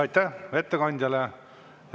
Aitäh ettekandjale!